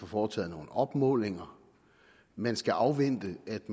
foretaget nogle opmålinger man skal afvente at